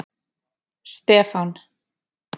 Stefán